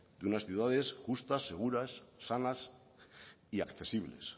de unas ciudades justas seguras sanas y accesibles